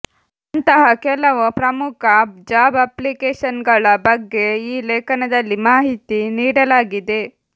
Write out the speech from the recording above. ಅಂತಹ ಕೆಲವು ಪ್ರಮುಖ ಜಾಬ್ ಅಪ್ಲಿಕೇಶನ್ಗಳ ಬಗ್ಗೆ ಈ ಲೇಖನದಲ್ಲಿ ಮಾಹಿತಿ ನೀಡಲಾಗಿದೆ